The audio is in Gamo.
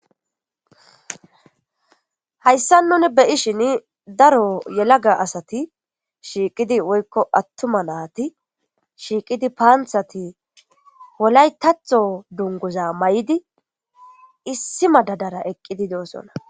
hayssan nuni beyishin daro yelaga asati shiiqidi woykko attuma naati shiiqidi paanthati wolaytatho dunguza may7idi issi madadara eqqidi doosonna